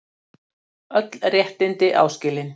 Öll réttindi áskilin